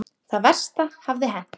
Það versta hafði hent.